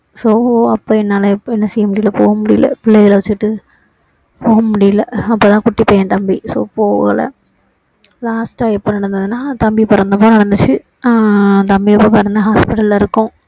so அப்போ என்னால முடியல போக முடியல பிள்ளைகள வச்சிட்டு போக முடியல அப்போதான் குட்டி பையன் தம்பி so போகல last டா எப்போ நடந்ததுன்னா தம்பி பிறந்த அப்போ நடந்துச்சு ஆஹ் தம்பி அப்போ பிறந்து hospital ல இருக்கோம்